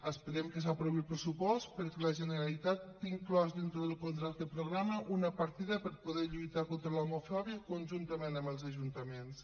esperem que s’aprovi el pressupost perquè la generalitat té inclosa dins del contracte programa una partida per poder lluitar contra l’homofòbia conjuntament amb els ajuntaments